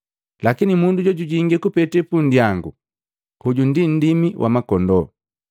Lakini mundu jojujingi kupete punndyangu, hoju ndi nndimi wa makondoo.